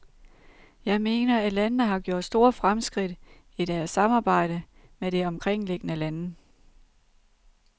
Jeg mener, at landene har gjort store fremskridt i deres samarbejde med de omkringliggende lande.